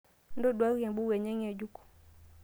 intoduaki embuku enye ngejuk